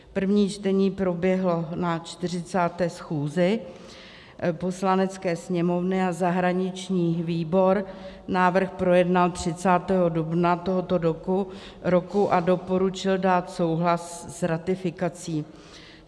První čtení proběhlo na 40. schůzi Poslanecké sněmovny a zahraniční výbor návrh projednal 30. dubna tohoto roku a doporučil dát souhlas s ratifikací.